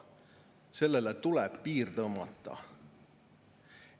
Sellele tuleb piir tõmmata.